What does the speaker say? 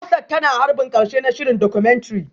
Hafsat tana harbin karshe na shirin Documentary